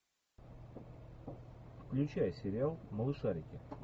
включай сериал малышарики